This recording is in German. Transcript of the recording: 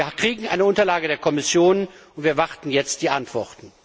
Wir bekommen eine Unterlage der Kommission und erwarten jetzt die Antworten.